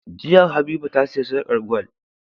Jiya habiba ta siya sarƙar gwal